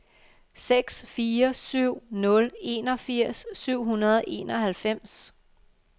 seks fire syv nul enogfirs syv hundrede og enoghalvfems